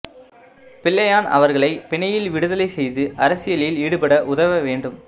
பிள்ளையான் அவர்களை பிணையி்ல் விடுதலை செய்து அரசியலில் ஈடுபட உதவ வேண்டும்